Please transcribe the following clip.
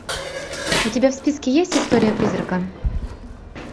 у тебя в списке есть история призрака